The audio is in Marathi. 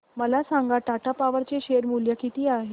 मला सांगा टाटा पॉवर चे शेअर मूल्य किती आहे